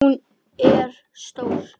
Hún er stór.